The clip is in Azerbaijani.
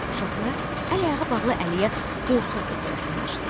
Uşaqlar əl-ayağı bağlı əliyə qorxa-qorxa yaxınlaşdılar.